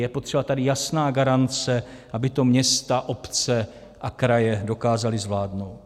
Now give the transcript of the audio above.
Je potřeba tady jasná garance, aby to města, obce a kraje dokázaly zvládnout.